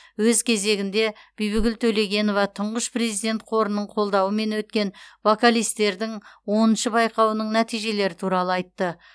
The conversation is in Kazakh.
өз кезегінде бибігүл төлегенова тұңғыш президент қорының қолдауымен өткен вокалистердің оныншы байқауының нәтижелері туралы айтты